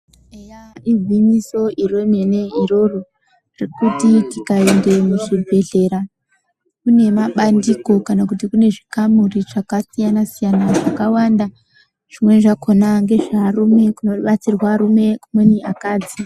Eya Igwinyiso remene iroro rekuti tikaenda muzvibhedhlera kune mabandiko kana kuti kune zvikamuri zvakasiyanasiyana zvakawanda zvimeni zvakona ngezvevarume kunobatsirwa arume kumweni akadzi.